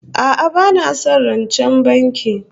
A'a bana son rancen banki